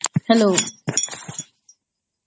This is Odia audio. hello